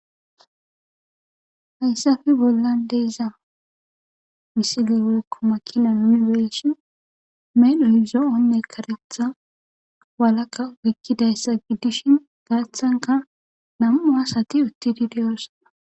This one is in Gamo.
hayssafe bolla deeza misile wolkko makina munifesion melu hizo7onne karetha walaka woykkidayssa giddishin gaaththanka nam7u asati uttidi diyoossona